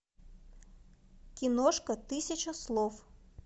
киношка тысяча слов